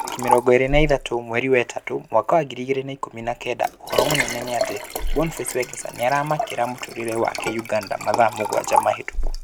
Tarĩki mĩrongo ĩrĩ na ithatũ mweri wa ĩtatũ mwaka wa ngiri igĩri na ikũmi na kenda: ũhoro mũnene nĩ atĩ" Boniface Wekesa nĩaramakĩra mũtũrĩre wake" Uganda mathaa mũgwanja mahĩtũku